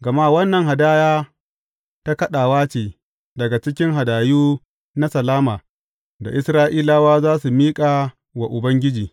Gama wannan hadaya ta ɗagawa ce daga cikin hadayu na salama da Isra’ilawa za su miƙa wa Ubangiji.